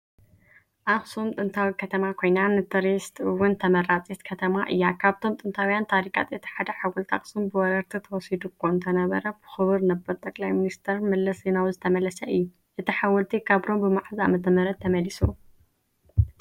ኣክሱም ጥንታዊ ከተማ ኮይና ንትሪስ እውን ተመራፂት ከተማ እያ ። ካብቶም ጥንታውያን ታሪካት እቲ ሓደ ሓወልቲ ኣክሱም ብወረርቲ ተወሲዱ እኮ እንተነበረ ብክቡር ነበር ጠቅላይ መለሰ ዜናዊ ዝተመለሰ እዩ። እቲ ሓወልቲ ካብ ሮም ብመዓዝ ዓመተ ምህረት ተመሊሱ?